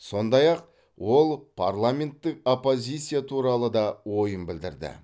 сондай ақ ол парламенттік оппозиция туралы да ойын білдірді